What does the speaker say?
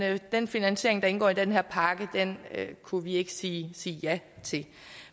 den finansiering der indgår i den her pakke kunne vi ikke sige sige ja til